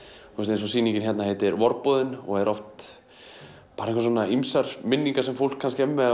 eins og sýningin hérna heitir vorboðinn og eru bara svona ýmsar minningar sem fólk kannski er með